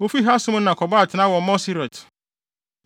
Wofii Hasmona kɔbɔɔ atenae wɔ Moserot.